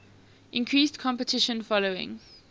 increased competition following